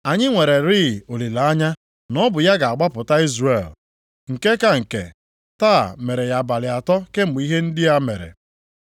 Anyị nwererịị olileanya na ọ bụ ya ga-agbapụta Izrel. Nke ka nke, taa mere ya abalị atọ kemgbe ihe ndị a mere.